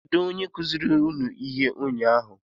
Kedụ onye kụziri unu ihe ụnyaahụ?